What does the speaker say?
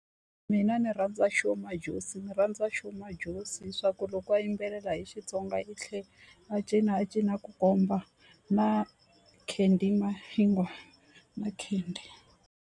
Mina ni rhandza Sho Majozi ni rhandza Sho Majozi hi swa ku loko a yimbelela hi Xitsonga i tlhe a cina a cina a ku komba na Candy Mahingwa na Candy.